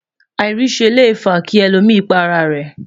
airise Le fa ki èlò mí pá ará rè